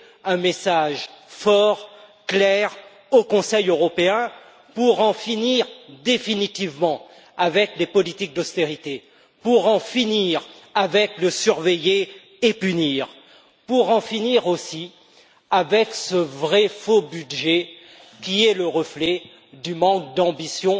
un message fort et clair au Conseil européen pour en finir une bonne fois pour toutes avec les politiques d'austérité, pour en finir avec le surveiller et punir, pour en finir aussi avec ce vrai faux budget qui est le reflet du manque d'ambition